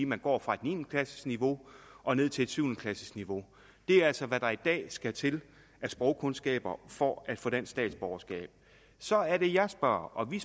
man går fra et niende klassesniveau og ned til et syvende klassesniveau det er altså hvad der i dag skal til af sprogkundskaber for at få dansk statsborgerskab så er det jeg spørger og vi